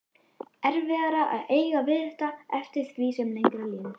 Erfiðara að eiga við þetta eftir því sem lengra líður.